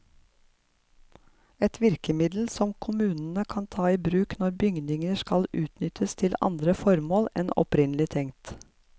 Et virkemiddel som kommunene kan ta i bruk når bygninger skal utnyttes til andre formål enn opprinnelig tenkt.